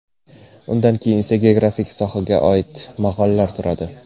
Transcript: Undan keyin esa geografiya sohasiga oida maqolalar turadi.